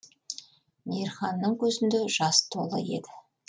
мейірханның көзінде жас толы еді